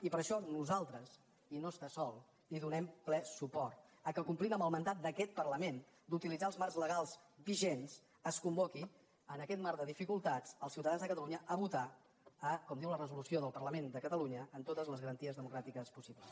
i per això nosaltres i no està sol hi donem ple suport que complint amb el mandat d’aquest parlament d’utilitzar els marcs legals vigents es convoqui en aquest mar de dificultats els ciutadans de catalunya a votar com diu la resolució del parlament de catalunya amb totes les garanties democràtiques possibles